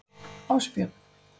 Ásbjörn